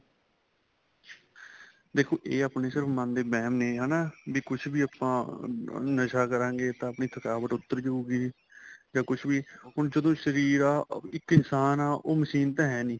ਦੇਖੋ ਇਹ ਆਪਣੇ ਸਿਰਫ਼ ਮਨ ਦੇ ਵਹਿਮ ਨੇ ਹੈਨਾ ਵੀ ਕੁੱਛ ਵੀ ਆਪਾਂ ਨਸਾਂ ਕਰਾਗੇ ਤਾਂ ਆਪਣੀ ਥਕਾਵਟ ਉੱਤਰ ਜਹੂਗੀ ਜਾਂ ਕੁੱਛ ਵੀ ਹੁਣ ਜਦੋਂ ਸ਼ਰੀਰ ਆ ਇੱਕ ਇਨਸ਼ਾਨ ਆ ਉਹ machine ਤਾਂ ਹੈ ਨਹੀਂ